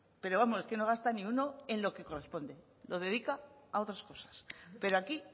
pero vamos que no gasta ni uno en lo que corresponde lo dedica a otras cosas pero aquí